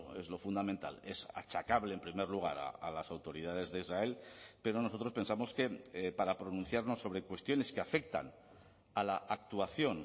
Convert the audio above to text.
es lo fundamental es achacable en primer lugar a las autoridades de israel pero nosotros pensamos que para pronunciarnos sobre cuestiones que afectan a la actuación